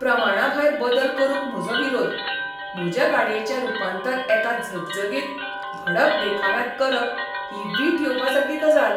प्रमाणाभायर बदल करूंक म्हजो विरोध. म्हजे गाडयेचें रूपांतर एका झगझगीत , भडक देखाव्यांत करप ही वीट येवपासारकी गजाल.